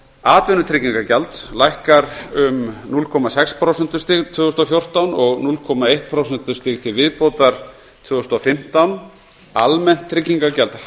atvinnutryggingagjald lækkar um núll komma sex prósentustig tvö þúsund og fjórtán og núll komma eitt prósentustig til viðbótar tvö þúsund og fimmtán almennt tryggingagjald